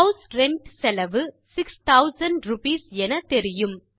house rent செலவு 6000 rupees எனத்தெரியும்